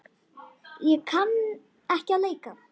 Ég kann ekki að leika.